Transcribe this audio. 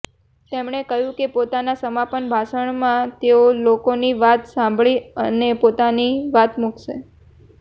તેમણે કહ્યુ કે પોતાના સમાપન ભાષણમાં તેઓ લોકોની વાત સાંભળીને પોતાની વાત મુકશે